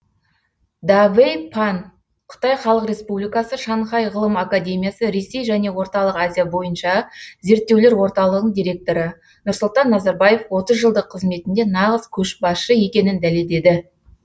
давэй пан қытай хлық республикасы шанхай ғылым академиясы ресей және орталық азия бойынша зерттеулер орталығының директоры нұрсұлтан назарбаев отыз жылдық қызметінде нағыз көшбасшы екенін дәлелдеді